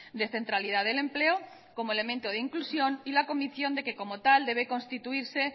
de centralidad del empleo como elemento de inclusión y la convicción de que como tal debe constituirse